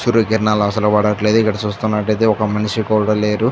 సూర్యకిరణాలు అసలు పడట్లేదు ఇక్కడ చూస్తున్నట్లయితే ఒక మనిషి కూడా లేరు.